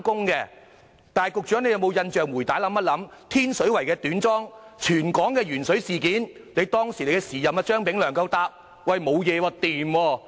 請緊記，當發生天水圍的短樁事件及全港的鉛水事件，當時的司局長不是也說沒有問題嗎？